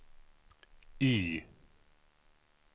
Y